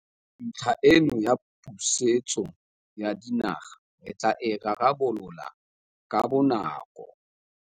Ntlha eno ya pusetso ya dinaga re tla e rarabolola ka bonako.